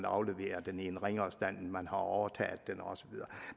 aflevere den i en ringere stand end man overtog den og så videre